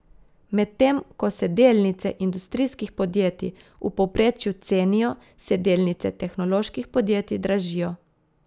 Medtem ko se delnice industrijskih podjetij v povprečju cenijo, se delnice tehnoloških podjetij dražijo.